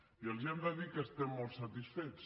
i els hem de dir que estem molt satisfets